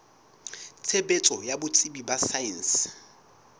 tshebetso ya botsebi ba saense